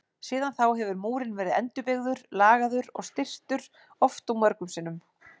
Síðan þá hefur múrinn verið endurbyggður, lagaður og styrktur oft og mörgum sinnum.